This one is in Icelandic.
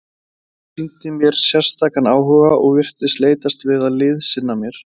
Hann sýndi mér sérstakan áhuga og virtist leitast við að liðsinna mér.